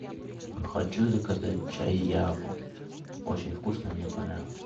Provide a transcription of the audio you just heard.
хочу заказать чай яву очень вкусно мне понравилось